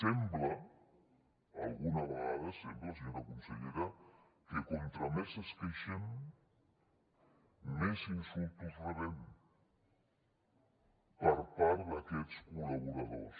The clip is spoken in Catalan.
sembla alguna vegada sembla senyora consellera que com més ens queixem més insults rebem per part d’aquests col·laboradors